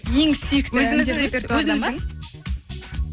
ең сүйікті өзіміздің репертуардан ба өзіміздің